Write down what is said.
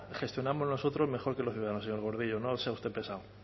gestionamos nosotros mejor que los ciudadanos señor gordillo no sea usted pesado